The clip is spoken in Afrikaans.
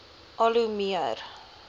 al hoe meer